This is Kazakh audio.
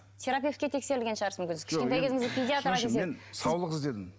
терапевтке тексерілген шығарсыз мүмкін сіз кішкентай кезіңізде педиатрға мен саулық іздедім